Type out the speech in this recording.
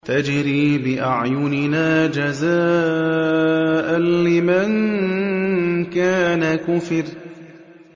تَجْرِي بِأَعْيُنِنَا جَزَاءً لِّمَن كَانَ كُفِرَ